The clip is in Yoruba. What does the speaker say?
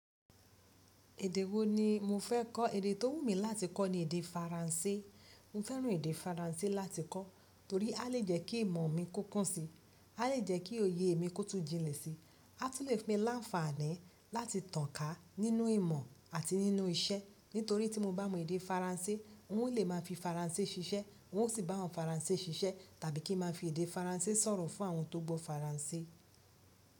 Èdè wo ni mo fẹ́ kọ́? Èdè tó wù mí láti kọ́ ni èdè Faransé. Mo fẹ́ràn èdè Faransé láti kọ́ torí a lè jẹ́ kí ìmọ̀ mi kó kúnsí, a lè jẹ́ kí òye mi kó tùn jínlẹ̀ sí, a tún lè fún mi láǹfààní láti tànká nínú ìmọ̀ àti nínú iṣẹ́. Nítorí tí mo bá mọ èdè Faransé, n ó lè máa fi Faransé ṣiṣẹ́, n ó sì bá àwọn Faransé ṣiṣẹ́ tàbí kí n máa fi èdè Faransé sọ̀rọ̀ fún àwọn tó gbọ́ Faransé.